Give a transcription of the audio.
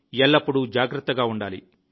ఎల్లప్పుడూ జాగ్రత్తగా ఉండాలి